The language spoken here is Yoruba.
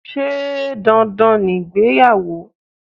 Sé dandan ni ìgbéyàwó?